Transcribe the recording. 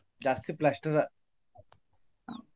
ಜಾಸ್ತಿ plaster .